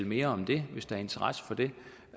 mere om det hvis der er interesse for det